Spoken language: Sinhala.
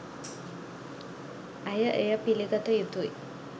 ඇය එය පිළිගත යුතුයි